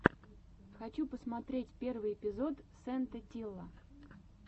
хочу посмотреть первый эпизод сэйнт этилла